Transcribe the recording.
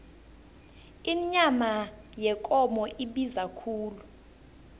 inyama yekomo ibiza khulu